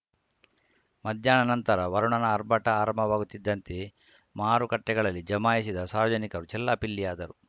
ಮಧ್ಯಾಹ್ನದ ನಂತರ ವರುಣನ ಆರ್ಭಟ ಆರಂಭವಾಗುತ್ತಿದ್ದಂತೆಯೇ ಮಾರುಕಟ್ಟೆಗಳಲ್ಲಿ ಜಮಾಯಿಸಿದ್ದ ಸಾರ್ವಜನಿಕರು ಚೆಲ್ಲಾಪಿಲ್ಲಿಯಾದರು